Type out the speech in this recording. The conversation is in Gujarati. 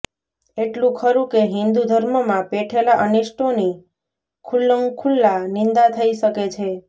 એટલું ખરું કે હિન્દુ ધર્મમાં પેઠેલાં અનિષ્ટોની ખુલ્લંખુલ્લા નિંદા થઈ શકે છે